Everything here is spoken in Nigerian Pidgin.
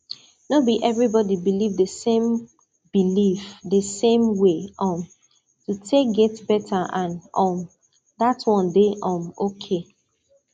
no be everybody believe the same believe the same way um to take get better and um dat one dey um okay